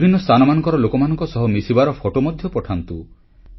ବିଭିନ୍ନ ସ୍ଥାନମାନଙ୍କର ଲୋକମାନଙ୍କ ସହ ମିଶିବାର ଫଟୋ ମଧ୍ୟ ପଠାନ୍ତୁ